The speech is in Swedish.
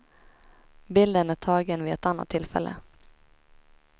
Bilden är tagen vid ett annat tillfälle.